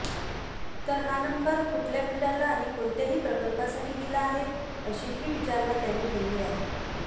तर हा नंबर कुठल्या बिल्डरला आणि कोणत्याही प्रकल्पासाठी दिला आहे अशीही विचारणा त्याने केली आहे